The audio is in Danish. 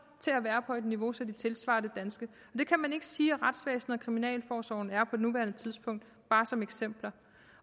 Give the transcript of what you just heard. til at være på et niveau så de tilsvarer det danske og det kan man ikke sige at retsvæsenet og kriminalforsorgen er på nuværende tidspunkt bare som eksempler